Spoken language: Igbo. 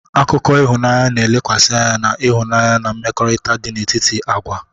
Akụkọ ịhụnanya na-elekwasị anya na ịhụnanya na mmekọrịta dị n'etiti agwa.